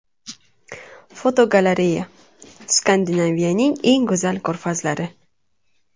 Fotogalereya: Skandinaviyaning eng go‘zal ko‘rfazlari.